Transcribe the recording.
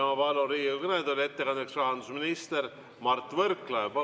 Palun Riigikogu kõnetooli ettekandeks rahandusminister Mart Võrklaeva.